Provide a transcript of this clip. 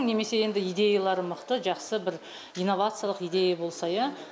немесе енді идеялары мықты жақсы бір инновациялық идея болса иә